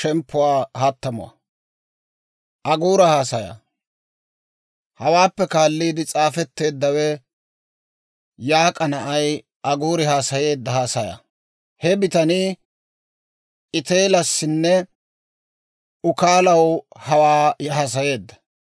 Hawaappe kaalliide s'aafetteeddawe Yaak'a na'ay Aguuri haasayeedda haasayaa. He bitanii Iteelassinne Ukaalaw hawaa haasayeedda.